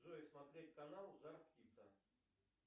джой смотреть канал жар птица